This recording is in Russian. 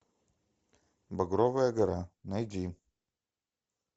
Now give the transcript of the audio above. багровая гора найди